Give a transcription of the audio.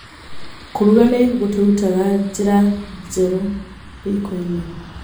Kũruga nĩ gũtũrutaga njĩra njerũ riko-inĩ.